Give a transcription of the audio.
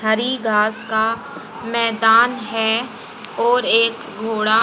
हरी घास का मैदान है और एक घोड़ा--